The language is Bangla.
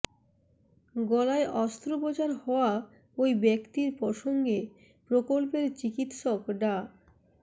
গলায় অস্ত্রোপচার হওয়া ওই ব্যক্তির প্রসঙ্গে প্রকল্পের চিকিৎসক ডা